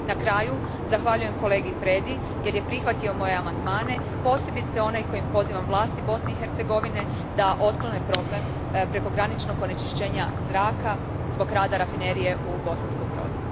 Na kraju, zahvaljujem kolegi Predi jer je prihvatio moje amandmane, posebice onaj kojim pozivam vlasti Bosne i Hercegovine da otklone problem prekograničnog onečišćenja zraka zbog rada rafinerije u Bosanskom Brodu.